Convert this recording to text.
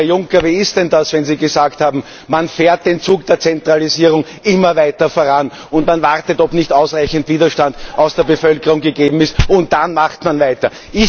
Und, Herr Juncker, wie ist denn das, wenn Sie gesagt haben Man fährt den Zug der Zentralisierung immer weiter voran, und man wartet, ob nicht ausreichend Widerstand aus der Bevölkerung gegeben ist, und dann macht man weiter?